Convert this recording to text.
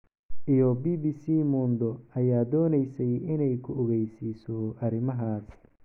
Iyo BBCmundo ayaa doonaysay inay ku ogeysiiso arrimahaas.